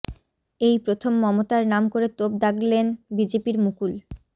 এই প্রথম মমতার নাম করে তোপ দাগলেন বিজেপির মুকুল